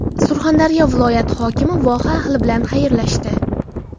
Surxondaryo viloyati hokimi voha ahli bilan xayrlashdi.